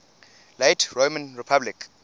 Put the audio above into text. late roman republic